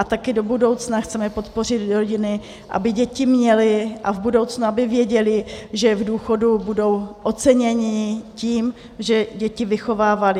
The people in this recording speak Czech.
A taky do budoucna chceme podpořit rodiny, aby děti měly a v budoucnu aby věděli, že v důchodu budou oceněni tím, že děti vychovávali.